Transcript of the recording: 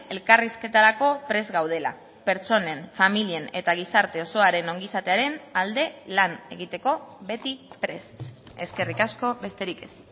elkarrizketarako prest gaudela pertsonen familien eta gizarte osoaren ongi izatearen alde lan egiteko beti prest eskerrik asko besterik ez